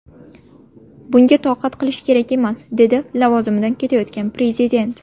Bunga toqat qilish kerak emas”, dedi lavozimidan ketayotgan prezident.